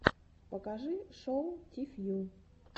покажи шоу ти фью